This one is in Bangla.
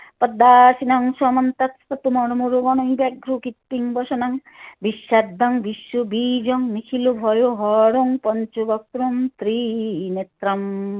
পদ্মা শিনং সমন তক কৃত্তিং বসনং বিষ্মাদং বিশ্ব বিজং ত্রি নেত্রম।